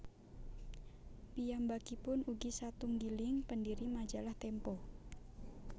Piyambakipun ugi satunggiling pendiri Majalah Tempo